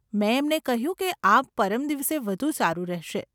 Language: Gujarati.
મેં એમને કહ્યું કે આ પરમ દિવસે વધુ સારું રહેશે.